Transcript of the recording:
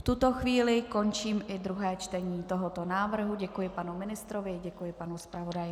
V tuto chvíli končím i druhé čtení tohoto návrhu, děkuji panu ministrovi, děkuji panu zpravodaji